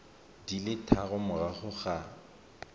di le tharo morago ga